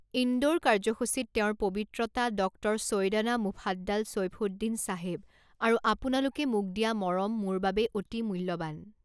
ইন্দোৰ কাৰ্যসূচীত তেওঁৰ পবিত্ৰতা ডক্টৰ চৈয়দনা মুফাদ্দাল চৈফুদ্দিন চাহেব আৰু আপোনালোকে মোক দিয়া মৰম মোৰ বাবে অতি মূল্যৱান।